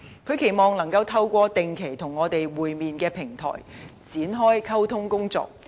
他期望能夠透過定期與我們會面的平台，展開溝通工作。